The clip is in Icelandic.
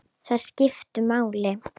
Þær skiptu máli.